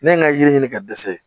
Ne ye n ka yiri ɲini ka dɛsɛ